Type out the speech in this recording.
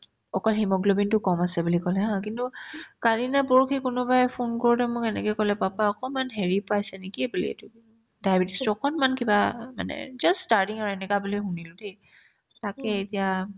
অকল hemoglobinতো কম আছে বুলি ক'লে haa কিন্তু কালি নে পৰহি কোনোবাই ফোন কৰোতে মোক এনেকে ক'লে papa অকমান হেৰি পাইছে নেকি বুলি এইটো কি diabetes ৰ অকনমান কিবা মানে just starting আৰু বুলি এনেকা শুনিলো দেই তাকে এতিয়া